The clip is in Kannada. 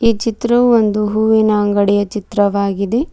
ಈ ಚಿತ್ರವು ಒಂದು ಹೂವಿನ ಅಂಗಡಿಯ ಚಿತ್ರವಾಗಿದೆ.